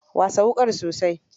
Wasa wukar sosai.